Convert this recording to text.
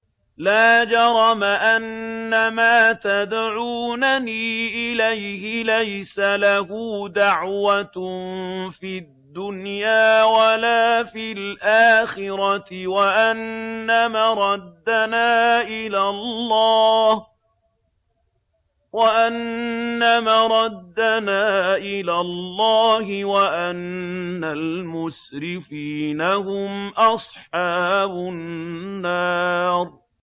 لَا جَرَمَ أَنَّمَا تَدْعُونَنِي إِلَيْهِ لَيْسَ لَهُ دَعْوَةٌ فِي الدُّنْيَا وَلَا فِي الْآخِرَةِ وَأَنَّ مَرَدَّنَا إِلَى اللَّهِ وَأَنَّ الْمُسْرِفِينَ هُمْ أَصْحَابُ النَّارِ